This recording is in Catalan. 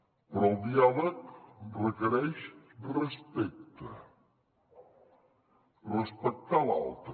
però el diàleg requereix respecte respectar l’altre